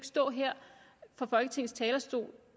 stå her fra folketingets talerstol